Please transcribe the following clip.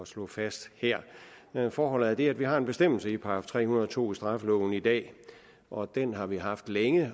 slå fast her forholdet er det at vi har en bestemmelse i § tre hundrede og to i straffeloven i dag og den har vi haft længe